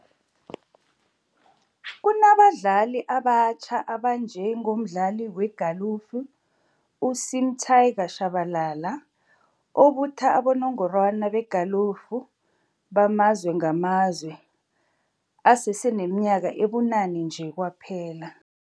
Kunabadlali abatjha abanje ngomdlali wegalufu u-Sim 'Tiger' Tshabalala obutha abo nongorwana begalufu bamazwe ngamazwe aseseneminyaka ebunane nje kwaphela.